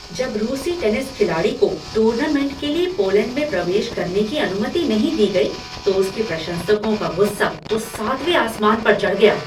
जब रूसी टेनिस खिलाड़ी को टूर्नामेंट के लिए पोलैंड में प्रवेश करने की अनुमति नहीं दी गई तो उसके प्रशंसकों का गुस्सा तो सातवें आसमान पर चढ़ गया।